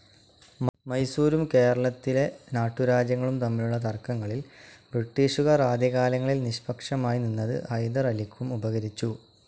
മൈസൂരും കേരളത്തിലെ നാട്ടുരാജ്യങ്ങളും തമ്മിലുള്ള തർക്കങ്ങളിൽ ബ്രിട്ടീഷുകാർ ആദ്യകാലങ്ങളിൽ നിഷ്പഷമായി നിന്നത് ഹൈദർ അലിക്കും ഉപകരിച്ചു.